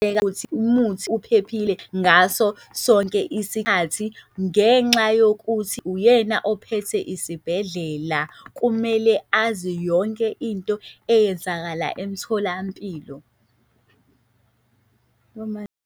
Ukuthi umuthi uphephile ngaso sonke isikhathi ngenxa yokuthi uyena ophethe isibhedlela, kumele azi yonke into eyenzakala emtholampilo.